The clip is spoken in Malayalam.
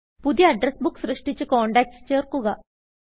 പുതിയ അഡ്രസ് Bookസൃഷ്ടിച്ച് കോണ്ടാക്ട്സ് ചേർക്കുക